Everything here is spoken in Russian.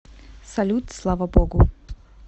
салют слава богу